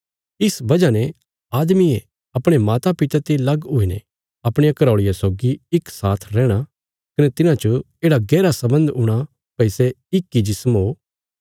इस बजह ने आदमीये अपणे मातापिता ते लग हुईने अपणिया घराऔल़िया सौगी इक साथ रैहणा कने तिन्हां च येढ़ा गैहरा सम्बन्ध हूणा भई सै इक इ जिस्म ओ